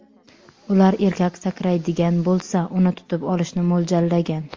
Ular erkak sakraydigan bo‘lsa, uni tutib olishni mo‘ljallagan.